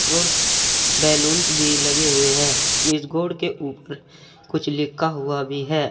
और कुछ बैलूंन्स भी लगे हुए हैं इस बोर्ड के ऊपर कुछ लिखा हुआ भी है।